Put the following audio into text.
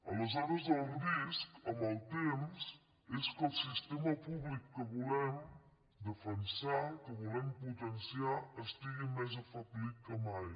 aleshores el risc amb el temps és que el sistema públic que volem defensar que volem potenciar estigui més afeblit que mai